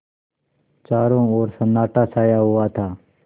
चारों ओर सन्नाटा छाया हुआ था